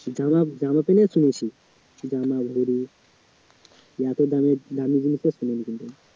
যারা জামা এত দামের দামি জিনিস তো আর